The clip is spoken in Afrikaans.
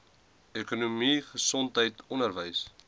ekonomie gesondheid onderwys